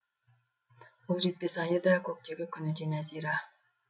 қол жетпес айы да көктегі күні де нәзира